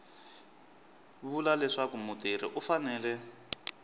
vula leswaku mutirhi u fanele